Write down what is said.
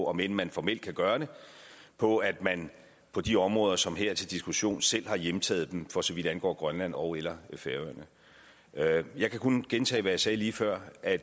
om end man formelt kan gøre det på at man på de områder som er til diskussion her selv har hjemtaget dem for så vidt angår grønland ogeller færøerne jeg kan kun gentage hvad jeg sagde lige før at